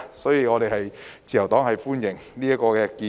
所以，自由黨歡迎這項建議。